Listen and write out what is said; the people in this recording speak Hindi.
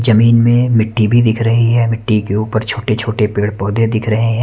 जमीन में मिट्टी भी दिख रही है मिट्टी के ऊपर छोटे छोटे पेड़ पौधे दिख रहे हैं।